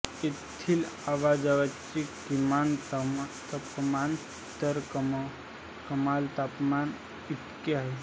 येथील आजवरचे किमान तापमान तर कमाल तापमान इतके आहे